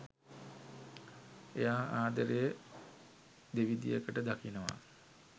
එයා ආදරය දෙවිදියකට දකිනවා